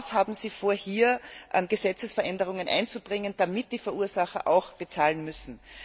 Was haben Sie vor, hier an Gesetzesänderungen einzubringen, damit die Verursacher auch bezahlen müssen?